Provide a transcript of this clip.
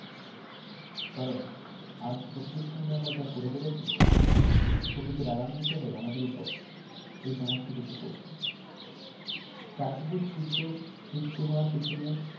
কারণ আজ প্রকৃতির সাথে আমরা যা করে চলেছি প্রকৃতি রাগান্নিত হয়ে আমাদের উপর এই সমস্ত কিছু করছে প্রাকৃতিক দুর্যোগ সৃষ্টি হওয়ার পিছনে